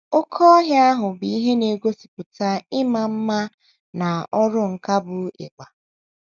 Oké ọhịa bụ ihe na - egosipụta ịma mma mma na ọrụ nkà bụ́ ịgba.